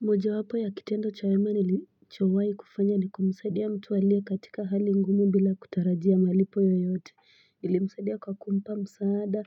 Moja wapo ya kitendo cha wema nilichowai kufanya ni kumsaidia mtu aliye katika hali ngumu bila kutarajia malipo yoyote nili msaidia kwa kumpa msaada